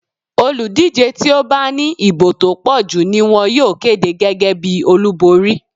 Olùdíje tí ó bá ní ìbò tó pọ̀jù ni wón yóò kéde gẹ́gẹ́ bí olúborín.